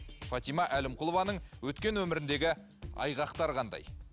фатима әлімқұлованың өткен өміріндегі айғақтар қандай